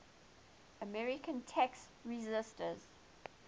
american tax resisters